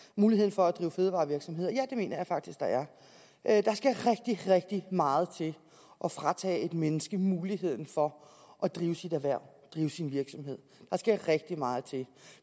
muligheden for at drive fødevarevirksomhed ja det mener jeg faktisk der er der skal rigtig rigtig meget til at fratage et menneske muligheden for at drive sit erhverv drive sin virksomhed der skal rigtig meget til